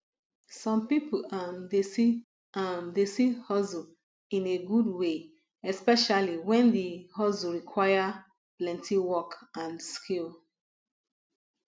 some pipo um dey see um dey see hustle in a good way especially when di hustle require plenty work and skill